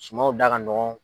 Sumanw da ka nɔgɔn.